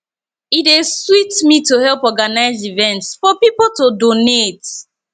e dey sweet me to help organize events for people to donate